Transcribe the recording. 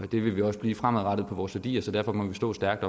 det vil vi også blive fremadrettet på vores værdier så derfor må vi stå stærkt